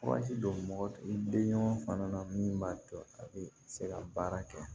Waati don mɔgɔ i bɛ ɲɔgɔn fana na min b'a to a bɛ se ka baara kɛ